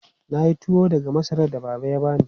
Na yi tuwo daga masarar da Baba ya bani.